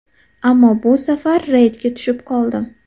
Ammo bu safar reydga tushib qoldim.